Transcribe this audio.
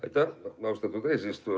Aitäh, austatud eesistuja!